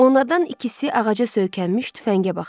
Onlardan ikisi ağaca söykənmiş tüfəngə baxdı.